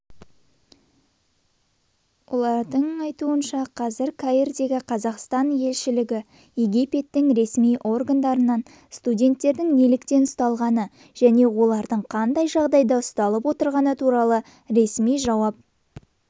оның айтуынша қазір каирдегі қазақстан елшілігі египеттің ресми органдарынан студенттердің неліктен ұсталғаны және олардың қандай жағдайда ұсталып отырғаны туралы ресми жауап